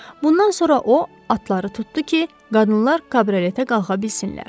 Bundan sonra o, atları tutdu ki, qadınlar kabrioletə qalxa bilsinlər.